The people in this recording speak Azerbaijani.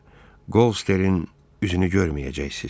Birdə Qosterin üzünü görməyəcəksiz.